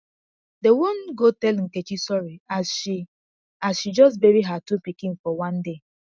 dem wan go tell nkechi sorry as she as she just bury her two pikin for one day